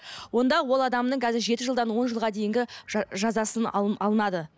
онда ол адамның қазір жеті жылдан он жылға дейінгі жазасын алынады